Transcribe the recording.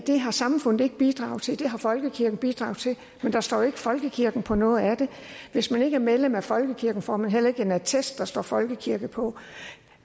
det har samfundet ikke bidraget til det har folkekirken bidraget til men der står jo ikke folkekirken på noget af det hvis man ikke er medlem af folkekirken får man heller ikke en attest der står folkekirke på